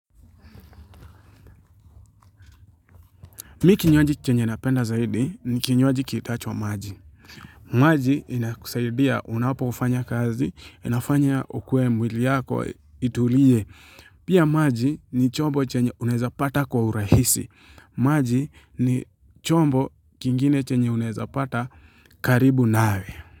Mimi kinywaji chenye napenda zaidi ni kinywaji kiitwacho maji. Maji inakusaidia unapofanya kazi, inafanya ukuwe mwili yako, itulie. Pia maji ni chombo chenye unaweza pata kwa urahisi. Maji ni chombo kingine chenye unaweza pata karibu nawe.